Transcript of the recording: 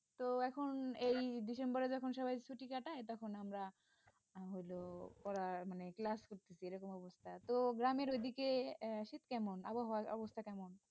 তো এখন এই December যখন সবাই ছুটি কাটায় তখন আমরা হল পড়া মানে class করতেছি এরকম অবস্থা তো গ্রামের ঐদিকে আহ শীত কেমন আবহাওয়ার অবস্থা কেমন?